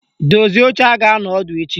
Dozie oche a ga-anọ ọdụ echi!